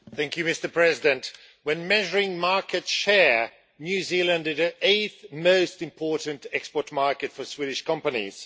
Mr President, when measuring market share, New Zealand is the eighth most important export market for Swedish companies.